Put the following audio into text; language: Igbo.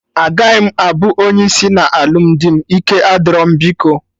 Agaghị m abụ onye isi na alụmdi m, ike adịro m biko